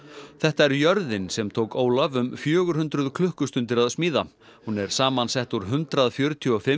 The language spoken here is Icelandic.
þetta er jörðin sem tók Ólaf um fjögur hundruð klukkustundir að smíða hún er samsett úr hundrað fjörutíu og fimm